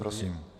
Prosím.